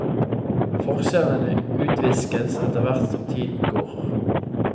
Forskjellene utviskes etterhvert som tiden går.